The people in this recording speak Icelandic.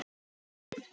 Borða dýrin?